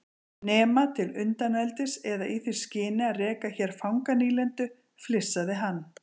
Nema til undaneldis eða í því skyni að reka hér fanganýlendu, flissaði hann.